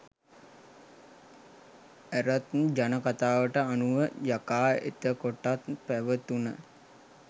ඇරත් ජන කථාවට අනුව යකා එතකොටත් පැවතුන